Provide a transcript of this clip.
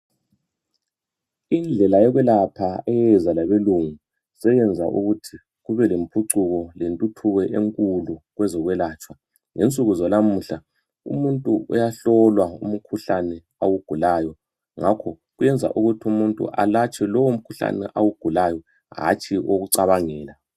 Indlela yokwelapha eza labelungu seyenza ukuthi kubelempucuko lentuthuko enkulu kwezokwelatshwa ngensuku zanamuhla umuntu uyahlolwa umkhuhlane awugulayo ngakho kwenza ukuthi umuntu alatshwe lowo mkhuhlane awugulayo hatshi owokucabangela .